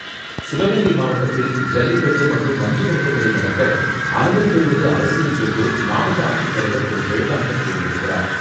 சிவகங்கை மாவட்டத்தில், ஜல்லிக்கட்டு மற்றும் மஞ்சுவிரட்டுகளை நடத்த அனுமதி பெறுவது அவசியம் என்று, மாவட்ட ஆட்சித்தலைவர் திரு.ஜெயகாந்தன் கூறியிருக்கிறார்.